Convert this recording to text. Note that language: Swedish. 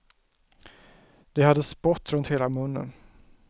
De hade spott runt hela munnen.